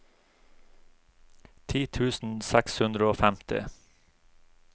ti tusen seks hundre og femti